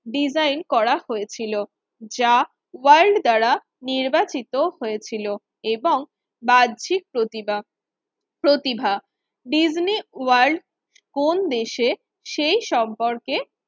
Design করা হয়েছিল। যা ওয়ার্ড দ্বারা নির্বাচিত হয়েছিল এবং বাহ্যিক প্রতিবা প্রতিভা ডিজনি ওয়ার্ল্ড কোন দেশে সেই সম্পর্কে